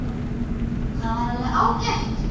Það er alveg ágætt.